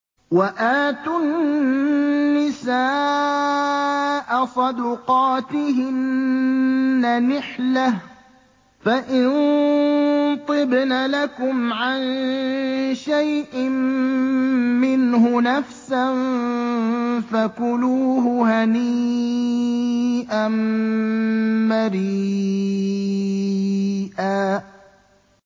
وَآتُوا النِّسَاءَ صَدُقَاتِهِنَّ نِحْلَةً ۚ فَإِن طِبْنَ لَكُمْ عَن شَيْءٍ مِّنْهُ نَفْسًا فَكُلُوهُ هَنِيئًا مَّرِيئًا